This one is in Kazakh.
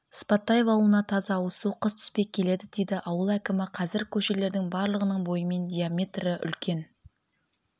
сыпатаев ауылына таза ауызсу қыс түспей келеді дейді ауыл әкімі қазір көшелердің барлығының бойымен диаметрі үлкен